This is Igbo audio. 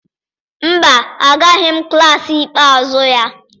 mba, Agaraghị m klas ikpeazụ ya.